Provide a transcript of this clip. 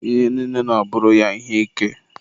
Ihe niile na-abụrụ ya ihe ike.